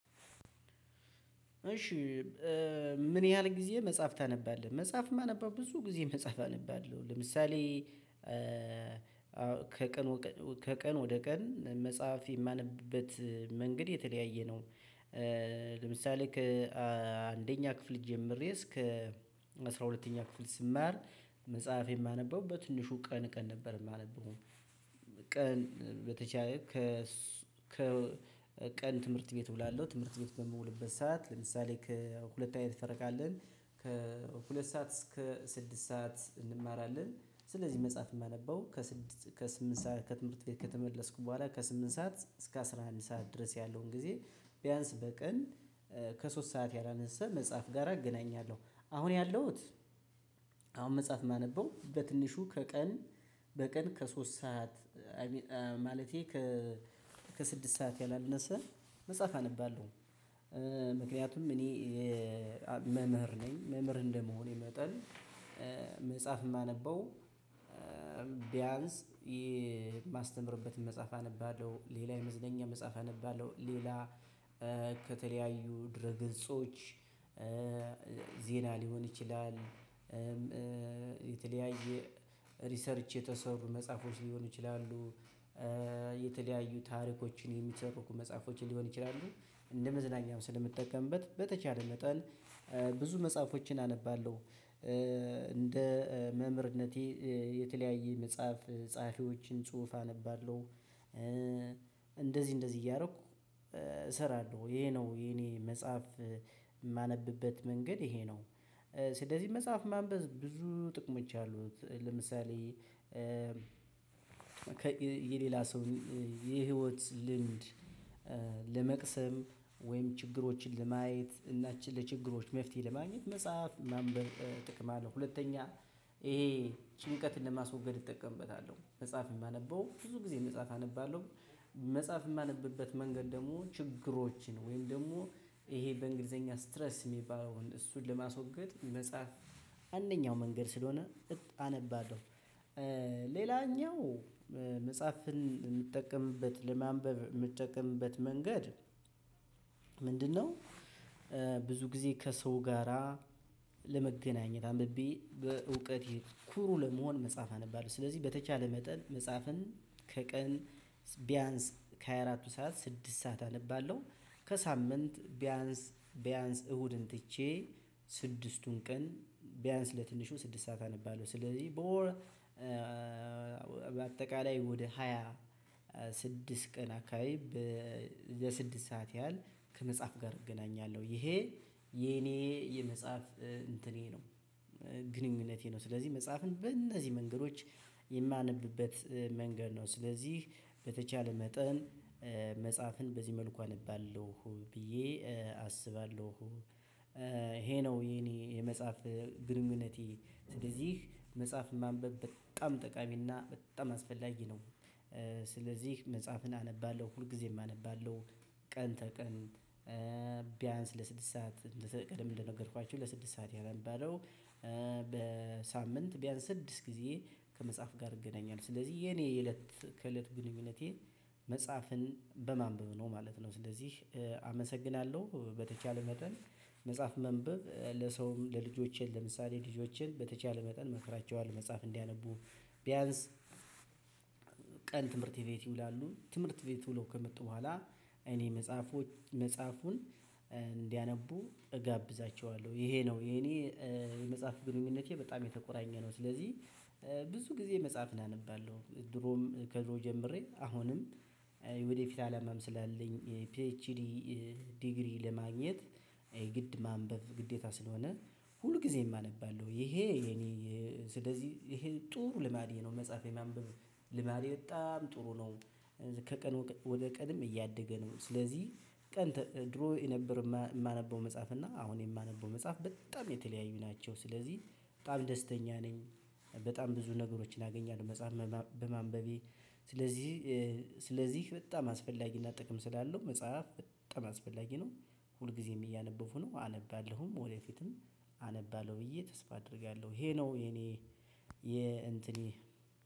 እሺ ምን ያህል ጊዜ መጽሐፍ ታነባለህ? መጽሐፍ የማነበው ብዙ ጊዜ መጽሐፍ አነባለሁ። ለምሳሌ: ከቀን ከቀን ወደ ቀን መጽሐፍ የማንብበት መንገድ የተለያየ ነው። ለምሳሌ: ከአንደኛ ክፍል ጀምሬ እስከ አስራ ሁለተኛ ክፍል ስማር መጽሐፍ የማነበው በትንሹ ቀን ቀን ነበር የማነበው። ቀን በተቻለ መጠን ቀን ትምህርት ቤት እውላለሁ። ትምህርት ቤት በምውልበት ሰዓት ለምሳሌ: ሁለት አይነት ፈረቃ አለን። ከሁለት ሰዓት እስከ ስድስት ሰዓት እንማራለን። ስለዚህ መጽሐፍ የማነበው ከስምንት ሰዓት ከትምህርት ቤት ከተመለስኩ በኋላ ከስምንት ሰዓት እስከ አስራ አንድ ሰዓት ድረስ ያለውን ጊዜ ቢያንስ በቀን ከሶስት ሰዓት ያላነሳ መጽሐፍ ጋር አገናኛለሁ። አሁን ያለሁት አሁን መጽሐፍ የማነበው በትንሹ ከቀን በቀን ከሶስት ሰዓት ማለቴ ከ ከስድስት ሰዓት ያላነሰ መጽሐፍ አነባለሁ። ምክንያቱም እኔ መምህር ነኝ። መምህር እንደመሆኔ መጠን መጽሐፍ የማነበው ቢያንስ የማስተምርበትን መጽሐፍ አነባለሁ። ሌላ የመዝነኛ መጽሐፍ አነባለሁ። ሌላ ከተለያዩ ድረ ግንጾች ዜና ሊሆን ይችላል። የተለያየ ሪሰርች የተሰሩ መጽሐፎች ሊሆኑ ይችላሉ። የተለያዩ ታሪኮችን የሚሰበኩ መጽሐፎችን ሊሆን ይችላሉ። እንደ መዝናኛም ስለምትጠቀምበት በተቻለ መጠን ብዙ መጽሐፎችን አነባለሁ። እንደ መምህርነቴ የተለያየ መጽሐፍ ጸሐፊዎችን ጽሁፍ አነባለሁ። እንደዚህ እንደዚህ እያደረኩ እሰራለሁ ይሄ ነው የኔ መጽሐፍ የማነብበት መንገድ ይሄ ነው። ስለዚህ መጽሐፍ ማንበብ ብዙ ጥቅሞች አሉት። ለምሳሌ: የሌላ ሰው የህይወት ልምድ ለመቅሰም። ወይም ችግሮችን ለማየት። እና ለችግሮች መፍትሄ ለማግኘት መጽሐፍ ማንበብ ጥቅም አለው። ሁለተኛ ይሄ ጭንቀትን ለማስወገድ እጠቀምበታለሁ። መጽሐፍ የማነበው ብዙ ጊዜ መጽሐፍ አነባለሁ። መጽሐፍ የማነብበት መንገድ ደግሞ ችግሮችን ወይም ደግሞ ይሄ በእንግሊዘኛ ስትረስ የሚባለውን እሱን ለማስወገድ መጽሐፍ አንደኛው መንገድ ስለሆነ አነባለሁ። ሌላኛው መጽሐፍን የምትጠቀምበት ለማንበብ የምትጠቀምበት መንገድ ምንድነው ብዙ ጊዜ ከሰው ጋራ ለመገናኘት አንብቤ በእውቀቴ ኩሩ ለመሆን መጽሐፍ አነባለሁ። ስለዚህ በተቻለ መጠን መጽሐፍን ከቀን ቢያንስ ከሀያራቱ ሰዓት ስድስት ሰዓት አነባለሁ። ከሳምንት ቢያንስ ቢያንስ እሁድን ትቼ ስድስቱን ቀን ቢያንስ በትንሹ ስድስት ሰዓት አነባለሁ። ስለዚህ በወር በአጠቃላይ ወደ ሃያ ስድስት ቀን አካባቢ ለስድስት ሰዓት ያህል ከመጽሐፍ ጋር እገናኛለሁ። ይሄ የኔ የመጽሐፍ እንትኔ ነው። ግንኙነቴ ነው። ስለዚህ መጽሐፍን በእነዚህ መንገዶች የማነብበት መንገድ ነው። ስለዚህ በተቻለ መጠን መጽሐፍን በዚህ መልኩ አነባለሁ ብዬ አስባለሁ። ይሄ ነው የኔ የመጽሐፍ ግንኙነቴ ስለዚህ መጽሐፍ ማንበብ በጣም ጠቃሚና በጣም አስፈላጊ ነው። ስለዚህ መጽሐፍን አነባለሁ ሁልጊዜም አነባለሁ ቀን ተቀን ቢያንስ ለስድስት ሰዓት ቀድም እንደነገርኳችሁ ለስድስት ሰዓት አነባለው። በሳምንት ቢያንስ ስድስት ጊዜ ከመጽሐፍ ጋር እገናኛለሁ። ስለዚህ የኔ የእለት ከእለት ግንኙነቴ መፅሀፍን በማንበብ ነው ማለት ነው። ስለዚህ አመሰግናለሁ። በተቻለ መጠን መጽሐፍ ማንበብ ለሰውም ለልጆቼ ለምሳሌ: ልጆቼን በተቻለ መጠን እመክራቸዋለሁ መጽሐፍ እንዲያነቡ። ቢያንስ ቀን ትምህር ቤት ይውላሉ ትምህርት ቤት ውለው ከመጡ በኃላ እኔ መፅሀፎችን እንዲያነቡ እጋብዛቸዋለሁ። ይሄ ነው። የእኔ የመፅሀፍ ግንኙነቴ በጣም የተቆራኘ ነው። ስለዚህ ብዙ ግዜ መፅሀፍን አነባለሁ። ድሮም ከድሮ ጀምሬ አሁንም ሌላኛው መጽሐፍን የምትጠቀምበት ለማንበብ የምትጠቀምበት መንገድ ምንድነው ብዙ ጊዜ ከሰው ጋራ ለመገናኘት አንብቤ በእውቀቴ ኩሩ ለመሆን መጽሐፍ አነባለሁ ስለዚህ በተቻለ መጠን መጽሐፍን ከቀን አነባለሁኝ ስለዚህ በተ ስለዚህ በጣም አስፈላጊ እና ጥቅም ስላለው መፅሀፍ በጣም አስፈላጊ ነው። ሁልግዜም እያነበብኩ ነው። አነባለሁም ወደ ፊትም አነባለሁ ብዬ ተስፍ አደርጋለሁ። ይሄ ነው የእኔ የእንትኔ